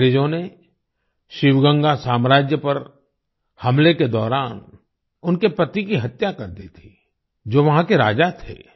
अंग्रेजों ने शिवगंगा साम्राज्य पर हमले के दौरान उनके पति की हत्या कर दी थी जो वहां के राजा थे